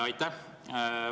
Aitäh!